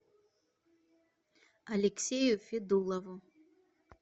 алексею федулову